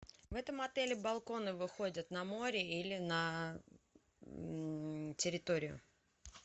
в этом отеле балконы выходят на море или на территорию